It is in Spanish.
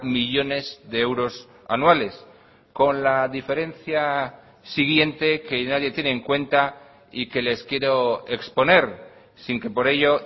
millónes de euros anuales con la diferencia siguiente que nadie tiene en cuenta y que les quiero exponer sin que por ello